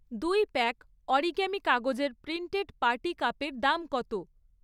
দুই pack origami কাগজের printed party কাপের দাম কত?